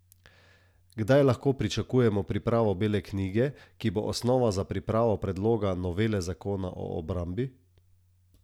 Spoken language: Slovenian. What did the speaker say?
Kdaj lahko pričakujemo pripravo bele knjige, ki bo osnova za pripravo predloga novele zakona o obrambi?